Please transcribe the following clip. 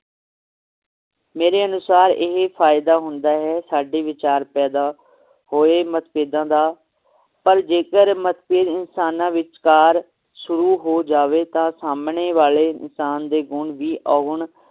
ਮੇਰੇ ਅਨੁਸਾਰ ਇਹ ਫਾਇਦਾ ਹੁੰਦਾ ਹੈ ਸਾਡੇ ਵਿਚਾਰ ਪੈਦਾ ਹੋਏ ਮਤਭੇਦਾਂ ਦਾ ਪਰ ਜੇਕਰ ਮਤਭੇਦ ਇਨਸਾਨਾਂ ਵਿਚਕਾਰ ਸ਼ੁਰੂ ਹੋ ਜਾਵੇ ਤਾਂ ਸਾਮਣੇ ਵਾਲੇ ਇਨਸਾਨ ਦੇ ਗੁਣ ਵੀ ਔਗੁਣ